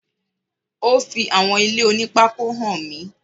Ó fi àwọn ilé oní pákó hàn mí.